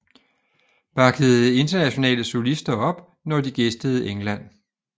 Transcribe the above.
Backede internationale solister op når de gæstede England